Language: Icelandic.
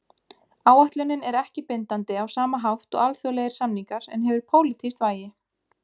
Áætlunin er ekki bindandi á sama hátt og alþjóðlegir samningar en hefur pólitískt vægi.